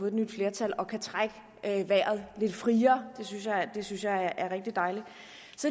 et nyt flertal og kan trække vejret lidt friere det synes jeg er rigtig dejligt